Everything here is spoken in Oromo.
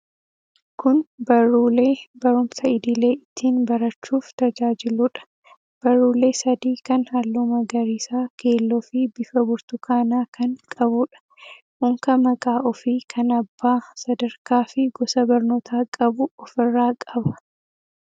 Kun barruulee barumsa idilee ittiin barachuuf tajaajiluudha. Barruulee sadii kan halluu magariisa, keelloofi bifa burtukaanaa kan qabuudha. Unka maqaa ofii, kan abbaa , sadarkaa fi gosa barnootaa qabu ofirraa qaba.